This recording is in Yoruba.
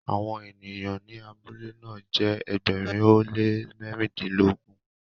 awon eniyan ni abule na jé ẹgbẹrin o le mẹrindilogun.